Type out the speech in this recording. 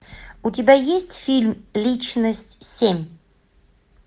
у тебя есть фильм личность семь